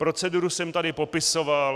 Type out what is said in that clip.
Proceduru jsem tady popisoval.